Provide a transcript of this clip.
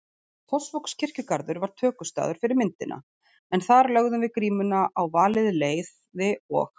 Fossvogskirkjugarður var tökustaður fyrir myndina en þar lögðum við grímuna á valið leiði og